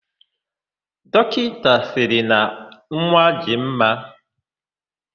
Dọkịta sịrị na nwa dị mma.,